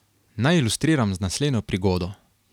Naj ilustriram z naslednjo prigodo.